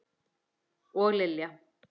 Og Lilja!